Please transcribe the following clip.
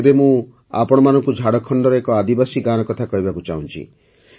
ଏବେ ମୁଁ ଆପଣମାନଙ୍କୁ ଝାଡ଼ଖଣ୍ଡର ଏକ ଆଦିବାସୀ ଗାଁର କଥା କହିବାକୁ ଚାହୁଁଛି